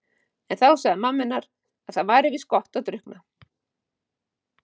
En þá sagði mamma henni að það væri víst gott að drukkna.